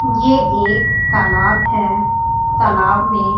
ये एक तालाब है तालाब में--